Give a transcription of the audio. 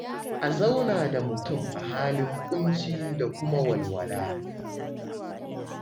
A zauna da mutum a halin ƙunci da kuma walwala.